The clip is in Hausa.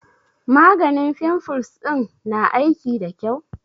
Maganin fimfles ɗin na aiki da ƙyau?